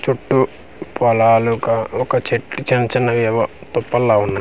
చుట్టూ పొలాలు క ఒక చెట్టు చిన్చిన్నవేవో తుప్పలులా వున్నాయి.